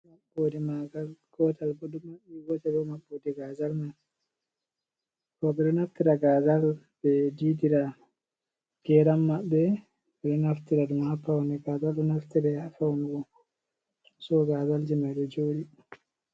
Maɓɓoode maagal gootel bo ɗo maɓɓi gootel bo maɓɓoode gaazal man roɓe ɗon naftira gaazal ɓe diidira geeram maɓɓe, ɓe ɗo naftira ɗum ha pawne. Gaazal ɗon naftore ha fawnugo, so gaazal man ɗo jooɗi.